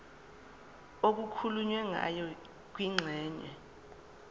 okukhulunywe ngayo kwingxenye